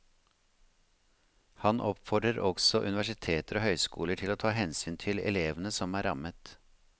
Han oppfordrer også universiteter og høyskoler til å ta hensyn til elevene som er rammet.